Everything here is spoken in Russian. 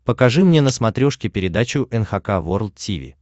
покажи мне на смотрешке передачу эн эйч кей волд ти ви